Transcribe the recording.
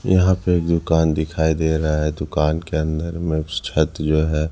यहां पे दुकान दिखाई दे रहा है दुकान के अंदर में छत जो है।